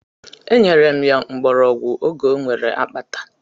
E nyere m ya mgbọrọgwụ oge o nwere akpata.